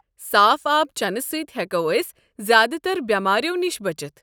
صاف آب چٮ۪نہٕ سۭتۍ ہٮ۪کو أسۍ زیادٕتر بیمارِیو نِش بٔچِتھ۔